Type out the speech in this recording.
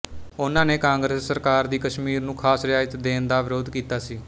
ਓਹਨਾਂ ਨੇ ਕਾਂਗਰਸ ਸਰਕਾਰ ਦੀ ਕਸ਼ਮੀਰ ਨੂੰ ਖਾਸ ਰਿਆਇਤ ਦੇਣ ਦਾ ਵਿਰੋਧ ਕੀਤਾ ਸੀ